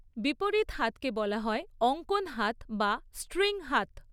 বিপরীত হাতকে বলা হয় অঙ্কন হাত বা স্ট্রিং হাত।